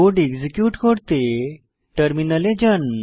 code execute করতে টার্মিনালে যান